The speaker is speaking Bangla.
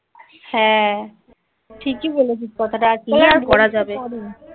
হ্যাঁ. ঠিকই বলেছিস কথাটা. কী আর করা যাবে